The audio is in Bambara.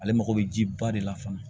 Ale mago bɛ ji ba de la fana